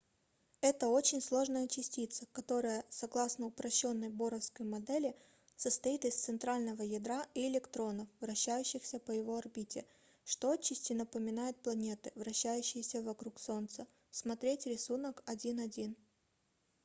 это очень сложная частица которая согласно упрощенной боровской модели состоит из центрального ядра и электронов вращающихся по его орбите что отчасти напоминает планеты вращающиеся вокруг солнца см рисунок 1.1